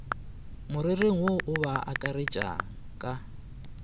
morerong wo a ba akaretšaka